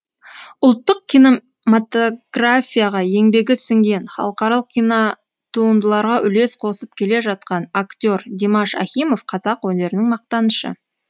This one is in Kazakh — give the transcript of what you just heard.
ұлттық кинематографияға еңбегі сіңген халықаралық кинотуындыларға үлес қосып келе жатқан актер димаш ахимов қазақ өнерінің мақтанышы